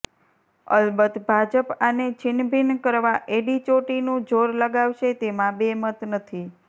અલબત્ત ભાજપ આને છિન્નભિન્ન કરવા એડી ચોટીનું જોર લગાવશે તેમાં બે મત નથી